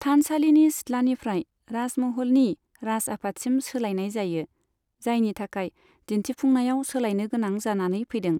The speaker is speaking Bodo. थानसालिनि सिथ्लानिफ्राय राजमहलनि राज आफादसिम सोलायनाय जायो, जायनि थाखाय दिन्थिफुंनायाव सोलायनो गोनां जानानै फैदों।